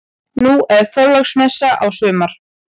Nú er Þorláksmessa á sumar.